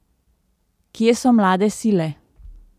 Kje so mlade sile?